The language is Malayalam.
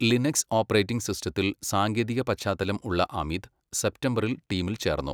ലിനക്സ് ഓപ്പറേറ്റിംഗ് സിസ്റ്റത്തിൽ സാങ്കേതിക പശ്ചാത്തലം ഉള്ള അമിത്, സെപ്റ്റംബറിൽ ടീമിൽ ചേർന്നു.